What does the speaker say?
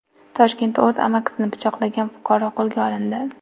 Toshkentda o‘z amakisini pichoqlagan fuqaro qo‘lga olindi.